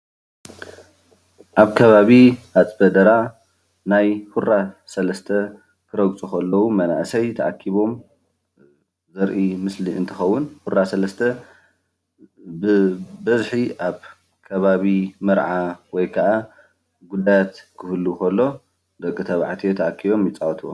ኣብ ከባቢ አፅበ ደራ ናይ ሁራ ሰለስተ ክረግፁ ከለዉ መናእሰይ ተኣኪቦም ዘርኢ ምስሊ እንትከውን ሁራ ሰለስተ ብበዝሒ ኣብ ከባቢ መርዓ ወይ ከዓ ጉዳያት ክህሉ ከሎ ደቂ ተባዕትዮ ተኣኪቦም ይፃወትዎ፡፡